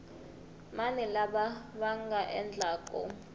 mani lava va nga endlaku